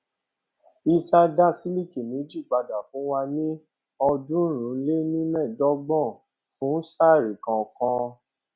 hisar dá sílíkì méjì padà fún wa ní ọọdúnrúnlénímẹẹdọgbọn fún saree kọọkan